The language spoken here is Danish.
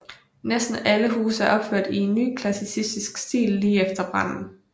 Næsten alle huse er opført i nyklassicistisk stil lige efter branden